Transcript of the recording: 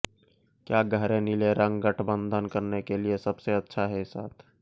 क्या गहरे नीले रंग गठबंधन करने के लिए सबसे अच्छा है साथ